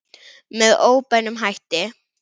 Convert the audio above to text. Með óbeinum hætti.